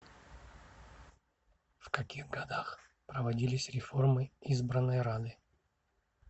в каких годах проводились реформы избранной рады